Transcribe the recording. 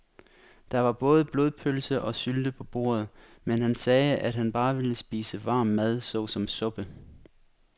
Der var både blodpølse og sylte på bordet, men han sagde, at han bare ville spise varm mad såsom suppe.